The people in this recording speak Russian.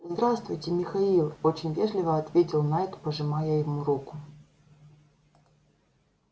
здравствуйте михаил очень вежливо ответил найд пожимая ему руку